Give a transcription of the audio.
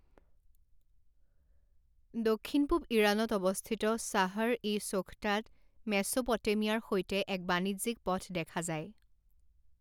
দক্ষিণ পূব ইৰাণত অৱস্থিত শ্বাহৰ ই ছোখটাত মেছোপটেমিয়াৰ সৈতে এক বাণিজ্যিক পথ দেখা যায়।